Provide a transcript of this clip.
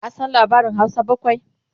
ka San labarin Hausa bakwai?